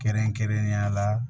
Kɛrɛnkɛrɛnnenya la